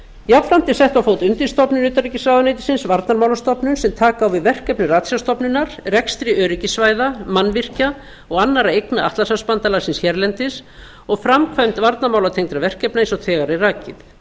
jafnframt er sett á fót undirstofnun utanríkisráðuneytisins varnarmálastofnun sem taka á við verkefni ratsjárstofnunar rekstri öryggissvæða mannvirkja og annarra eigna atlantshafsbandalagsins hérlendis og framkvæmd varnarmálatengdra verkefna eins og þegar er rakið